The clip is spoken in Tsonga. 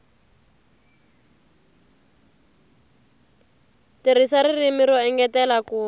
tirhisa ririmi ro engetela ku